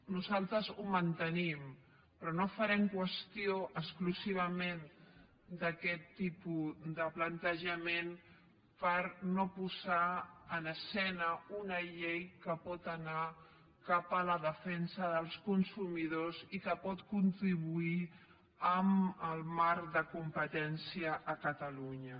nosaltres ho mantenim però no farem qüestió exclusivament d’aquest tipus de plantejament per no posar en escena una llei que pot anar cap a la defensa dels consumidors i que pot contribuir en el marc de competència a catalunya